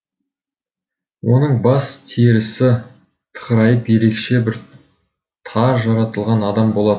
оның бас терісі тықырайып ерекше бір тар жаратылған адам болатын